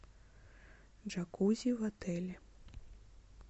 джакузи в отеле